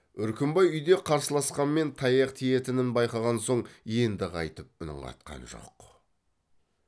үркімбай үйде қарсыласқанмен таяқ тиетінін байқаған соң енді қайтып үн қатқан жоқ